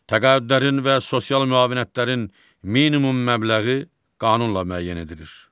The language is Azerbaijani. Təqaüdlərin və sosial müavinətlərin minimum məbləği qanunla müəyyən edilir.